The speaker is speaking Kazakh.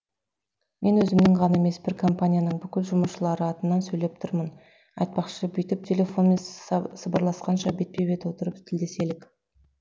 мен өзімнің ғана емес бір компанияның бүкіл жұмысшылары атынан сөйлеп тұрмын айтпақшы бүйтіп телефонмен сыбырласқанша бетпе бет отырып тілдеселік